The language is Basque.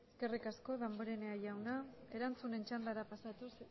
eskerrik asko damborenea jauna erantzunen txandara pasatuz